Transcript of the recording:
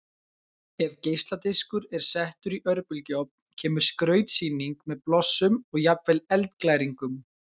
Ef geisladiskur er settur í örbylgjuofn kemur skrautsýning með blossum og jafnvel eldglæringum.